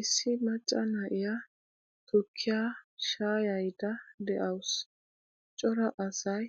Issi macca na'iyaa tukkiyaa shaayayida de'awusu. Cora asay